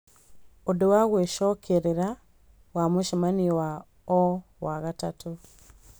ũndũ wa gwĩcokerera wa mũcemanio wa o wa gatatũ